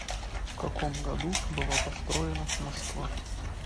в каком году была построена москва